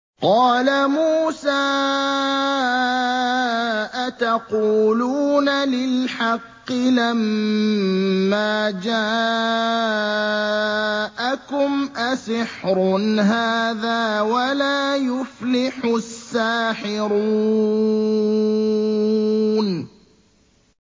قَالَ مُوسَىٰ أَتَقُولُونَ لِلْحَقِّ لَمَّا جَاءَكُمْ ۖ أَسِحْرٌ هَٰذَا وَلَا يُفْلِحُ السَّاحِرُونَ